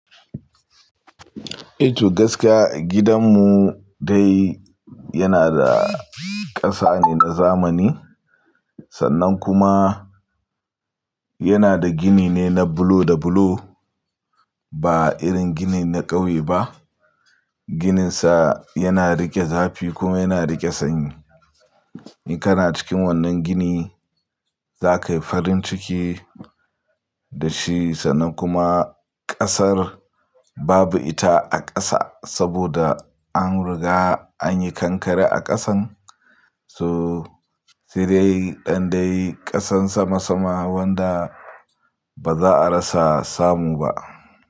I to gaskiya gidan mu dai yana da ƙasa ne na zamani sannan kuma yana da gini ne na bulo da bulo ba irin ginin na ƙauye ba. Gininsa yana riƙe zafi kuma yana riƙe sanyi. In kana cikin wannan gini za ka yi farin ciki da shi sannan kuma ƙasar babu ita a ƙasa saboda an riga an yi kankare a ƙasan. To ssaidai ɗan dai ƙasan sama sama wanda ba za a rasa samu ba.